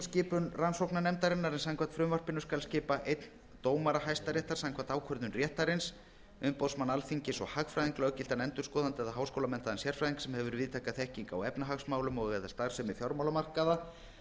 skipun rannsóknarnefndarinnar en samkvæmt frumvarpinu skal skipa einn dómara hæstaréttar íslands samkvæmt ákvörðun réttarins umboðsmann alþingis og hagfræðing löggiltan endurskoðanda eða háskólamenntaðan sérfræðing sem hefur víðtæka þekkingu á efnahagsmálum og eða starfsemi fjármálamarkaða